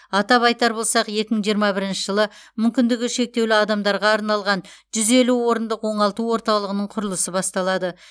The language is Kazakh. атап айтар болсақ екі мың жиырма бірінші жылы мүмкіндігі шектеулі адамдарға арналған жүз елу бір орындық оңалту орталығының құрылысы басталады